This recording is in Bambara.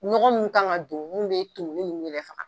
Nɔgɔ minnu kan ka don n'o bɛ tumuni ninnu yɛrɛ faga.